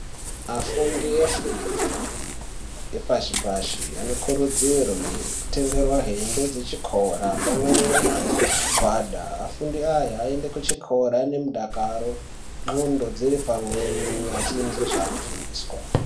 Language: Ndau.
Afundi efundo yepashi pashi anokuridzirwe kutengerwa hembe dzechikora pamweni nemagwada afundi aya ayende kuchikora aine mudakaro ndxondo dziri panwe echizwa zvaanofundisa.